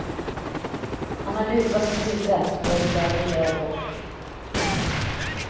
Han har luva på huvudet och är klädd i röd rock.